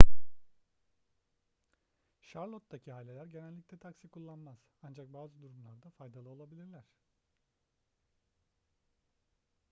charlotte'taki aileler genellikle taksi kullanmaz ancak bazı durumlarda faydalı olabilirler